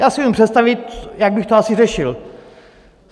Já si neumím představit, jak bych to asi řešil.